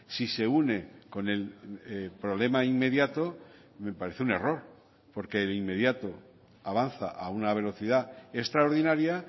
si se une con el problema inmediato me parece un error porque el inmediato avanza a una velocidad extraordinaria